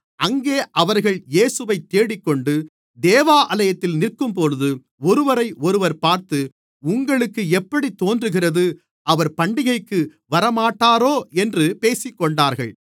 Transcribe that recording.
அங்கே அவர்கள் இயேசுவைத் தேடிக்கொண்டு தேவாலயத்தில் நிற்கும்போது ஒருவரையொருவர் பார்த்து உங்களுக்கு எப்படித் தோன்றுகிறது அவர் பண்டிகைக்கு வரமாட்டாரோ என்று பேசிக்கொண்டார்கள்